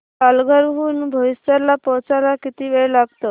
पालघर हून बोईसर ला पोहचायला किती वेळ लागतो